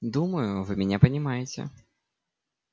думаю вы меня понимаете